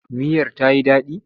Miyar ta yi daɗi?